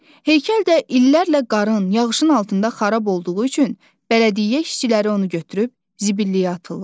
Heykəl də illərlə qarın, yağışın altında xarab olduğu üçün bələdiyyə işçiləri onu götürüb zibilliyə atırlar.